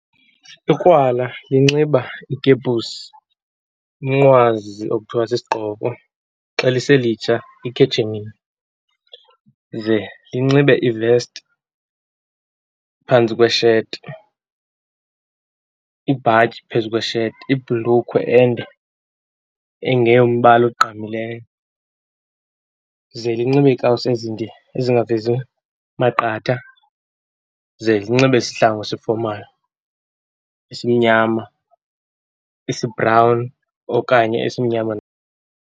Ikrwala linxiba ikepusi, umnqwazi okuthiwa sisigqoko, xalise litsha, ikhetshemiya. Ze linxibe ivesti phantsi kwesheti, ibhayityi phezu kwesheti, ibhlukhwe ende, engeyombala ogqamileyo. Ze linxibe ikawusi ezinde ezingavezi maqatha, ze linxibe isihlangu esifomali, esimnyama, esibhrawuni, okanye esimnyama.